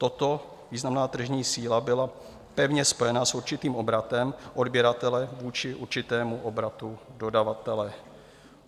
Toto, významná tržní síla, byla pevně spojena s určitým obratem odběratele vůči určitému obratu dodavatele.